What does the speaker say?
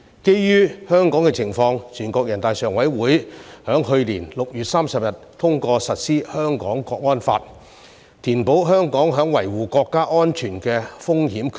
基於香港的情況，全國人大常委會在去年6月30日通過實施《香港國安法》，填補香港在維護國家安全的風險缺口。